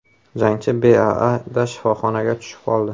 Jangchi BAAda shifoxonaga tushib qoldi.